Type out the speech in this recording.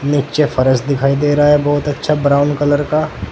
नीचे फरस दिखाई दे रहा है बहोत अच्छा ब्राउन कलर का।